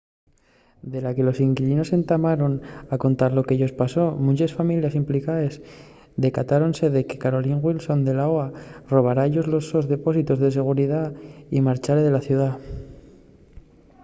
de la que los inquilinos entamaron a contar lo que-yos pasó munches families implicaes decatáronse de que carolyn wilson de la oha robára-yos los sos depósitos de seguridá y marchare de la ciudá